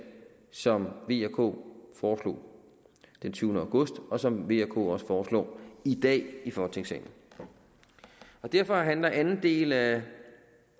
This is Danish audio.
som v og k foreslog den tyvende august og som v og k også foreslår i dag i folketingssalen derfor handler anden del af